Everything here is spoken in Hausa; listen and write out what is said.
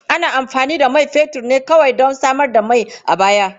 Ana amfani da man fetur ne kawai don samar da mai a baya.